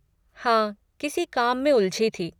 हाँ, किसी काम में उलझी थी।